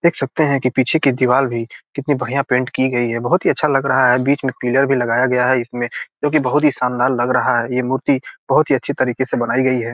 देख सकते हैं की पीछे की दीवार भी कितनी बढ़िया पेट की गई है बहुत ही अच्छा लग रहा है बीच में पिलर भी लगाया गया है उसमें जो की बहुत ही शानदार लग रहा है ये मूर्ति बहुत ही अच्छी तरीके से बनाई गई है।